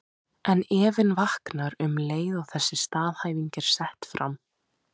En efinn vaknar um leið og þessi staðhæfing er sett fram.